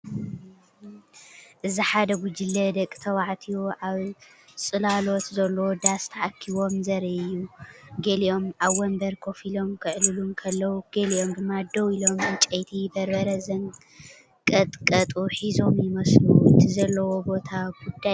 እዚ ሓደ ጉጅለ ደቂ ተባዕትዮ ኣብ ጽላሎት ዘለዎ ዳስ ተኣኪቦም ዘርኢ እዩ። ገሊኦም ኣብ መንበር ኮፍ ኢሎም ክዕልሉ እንከለዉ፡ ገሊኦም ድማ ደው ኢሎም ዕንጨይቲ በርበረ ዘንቀጥቀጡ ሒዞም ይመስሉ። እቲ ዘለውዎ ቦታ ጉዳይ እዩ ዝመሰል።